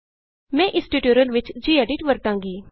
ਮੈਂ ਇਸ ਟਯੂਟੋਰਿਅਲ ਵਿਚ ਜੀਐਡਿਟ ਵਰਤਾਂਗੀ